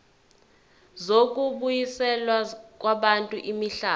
zokubuyiselwa kwabantu imihlaba